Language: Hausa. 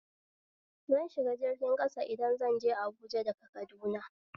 Zan shiga jirgin ƙasa idan zanje Abuja daga Kaduna